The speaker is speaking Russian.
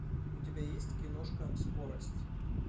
у тебя есть киношка скорость